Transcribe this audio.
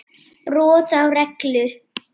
Brot á reglu.